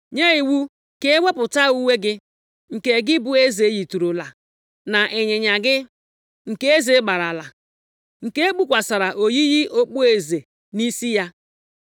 nye iwu ka e wepụta uwe gị, nke gị bụ eze yitụrụla, na ịnyịnya gị, nke eze gbaarala, nke e kpukwasịrị oyiyi okpueze nʼisi ya.